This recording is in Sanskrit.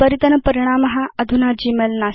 उपरितन परिणाम अधुना ग्मेल